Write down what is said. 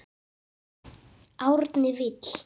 Árni Vill.